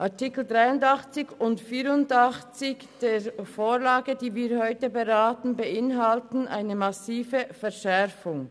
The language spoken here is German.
Artikel 83 und 84 der Vorlage, die wir heute beraten, beinhalten eine massive Verschärfung.